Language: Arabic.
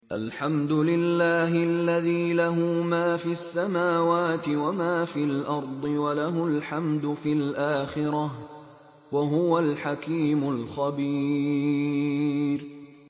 الْحَمْدُ لِلَّهِ الَّذِي لَهُ مَا فِي السَّمَاوَاتِ وَمَا فِي الْأَرْضِ وَلَهُ الْحَمْدُ فِي الْآخِرَةِ ۚ وَهُوَ الْحَكِيمُ الْخَبِيرُ